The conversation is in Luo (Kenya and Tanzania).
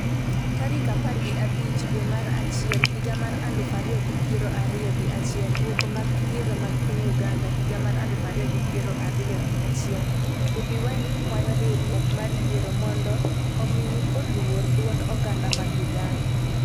tarik apar gi abich dwe mar achiel higa mar aluf ariyo gi piero ariyo gi achiel . Duoko mag yiero mag piny Uganda higa mar aluf ariyo gi piero ariyo gi achiel: Bobi wine kwayo riwruok mar yiero mondo omi luor duond oganda mag Uganda